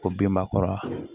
Ko binba kɔrɔ